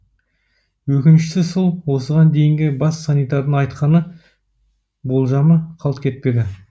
өкініштісі сол осыған дейінгі бас санитардың айтқаны болжамы қалт кетпеді